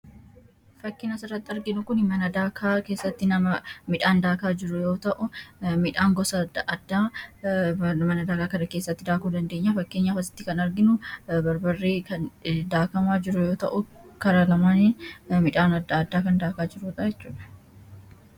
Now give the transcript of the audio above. fakkina sirratti arginu kun midhaan daakaa jiruyoo ta'u midhaan gosa adamanadaakaa kara keessatti daakuu dandeenya fakkienyafasitti kan arginu barbarrii daakamaa jiruyoo ta'u kara lamaan midhaan ddaadda kan daakaa jirootechube